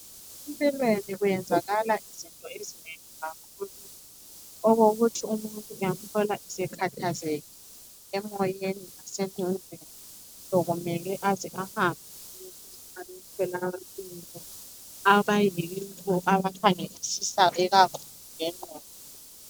Empilweni kuyenzakala izinto ezinengi kakhulu okokuthi umuntu uyambona esekhathazekile emoyeni lasengqondweni sokumele aze ahambe emtholampilo abayibo abakhangelisisa ikakhulu ngengqondo.